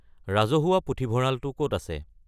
ৰাজহুৱা পুথিভঁৰালটো ক'ত আছে